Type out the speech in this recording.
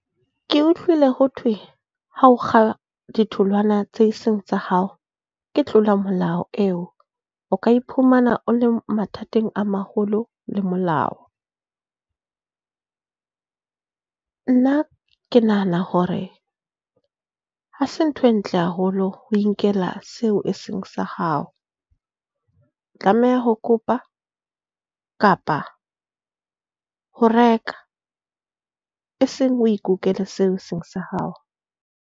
Ke utlwile ho thwe ha o kga ditholwana tseo eseng tsa hao, ke tlolo ya molao eo. O ka iphumana o le mathateng a maholo le molao. Nna ke nahana hore ha se ntho e ntle haholo ho inkela seo e seng sa hao. O tlameha ho kopa kapa ho reka e seng o ikukele seo e seng sa hao.